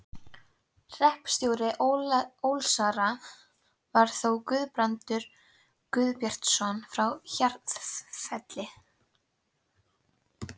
Hreppstjóri Ólsara var þá Guðbrandur Guðbjartsson frá Hjarðarfelli.